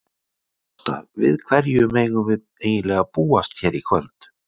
Ásta, við hverju megum við eiginlega búast hér í kvöld?